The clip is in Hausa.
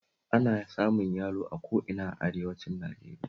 Ana samun yalo a ko ina a arewacin Najeriya